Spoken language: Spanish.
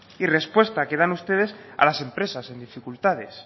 y respuesta que dan ustedes a las empresas en dificultades